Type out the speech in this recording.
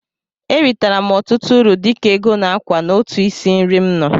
E ritere m ọtụtụ uru dịka ego na ákwà n'otu isi nri m nọ.